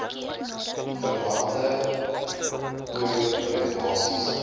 verwante oir regulasies